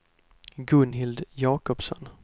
Gunhild Jakobsson